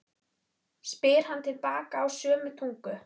spyr hann til baka á sömu tungu.